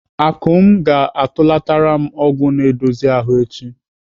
Akụm ga-atụlatara m ọgwụ na-edozi ahụ echi.